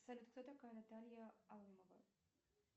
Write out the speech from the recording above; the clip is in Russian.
салют кто такая наталья алымова